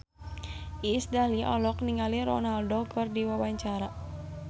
Iis Dahlia olohok ningali Ronaldo keur diwawancara